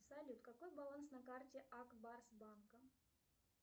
салют какой баланс на карте ак барс банка